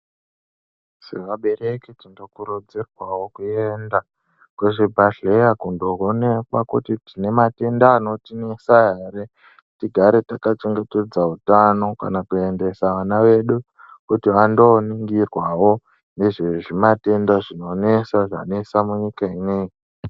Sevabereki tinokurudzirwawo kuenda kuzvibhedhlera kundoonekwa kuti tine matenda anotinesa ere tigare takachengetedza utano kana kuendesa vana vedu kuti vandooningirwawo nezvezvimatenda zvinonesa, zvanesa munyika ineyi.